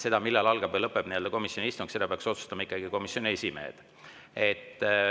Seda, millal algab või lõpeb komisjoni istung, peaks otsustama ikkagi komisjoni esimees.